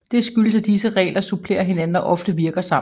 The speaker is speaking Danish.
Det skyldes at disse regler supplerer hinanden og ofte virker sammen